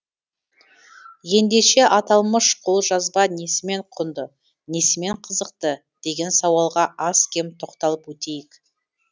ендеше аталмыш қолжазба несімен құнды несімен қызықты деген сауалға аз кем тоқталып өтейік